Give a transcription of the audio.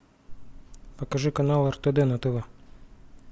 покажи канал ртд на тв